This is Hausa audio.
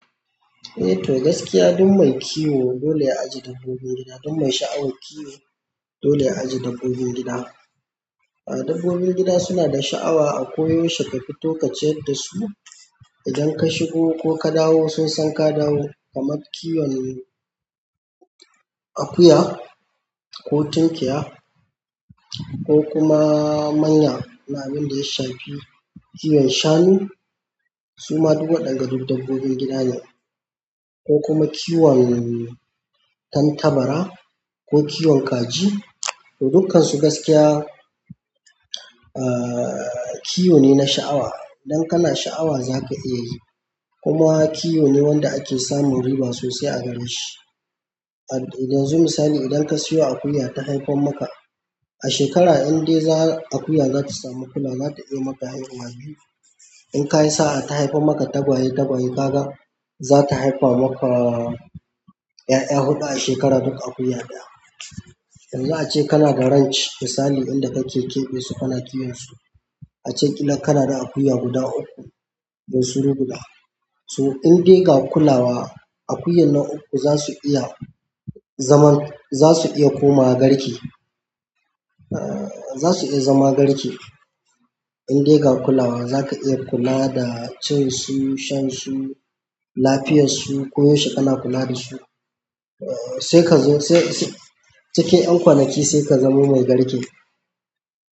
Eh to gaskiya duk mai kiwo dole ya ajiye dabbobin gida, duk mai sha'awan kiwo dole ya ajiye dabbobin gida. A dabbobin gida suna da sha'awa a ko yaushe ka fito kaciyar dasu. Idan ka shigo ko ka dawo, sun san ka dawo, kamar kiwon. Akuya, ko tunkiya, ko kuma manya na abin da ya shafi kiwon shanu. Su ma duk waɗanga duk dabbobin gida ne, ko kuma kiwon tantabara ko kiwon kaji. To, dukansu gaskiya, ahhh. Kiwo ne na sha'awa. Idan kana sha'awa zaka iya yi. Kuma kiwo ne wanda ake samun riba sosai a gare shi. Yanzu, misali idan ka siyo akuya ta haifar maka, a shekara indai za akuya za ta samu kula, za ta iya maka haihuwa biyu. In ka yi sa'a ta haifa maka tagwaye-tagwaye kaga, za ta haifa maka. 'Ya'ya huɗu a shekara, duk akuya ɗaya. Yanzu ace kana da ranch misali inda kake keɓe su kana kiwon su. Ace ƙila kana da akuya guda uku bunsuru guda. To in dai ba kulawa, akuyan na uku zasu iya zaman, zasu iya komawa garke. Ahh. Za su iya zama garke. In dai ga kulawa, za ka iya kula da cin su, shan su, lafiyar su, ko yaushe kana kula da su. Eh, sai ka zo sai sai cikin 'yan kwanaki sai ka zamo mai garke.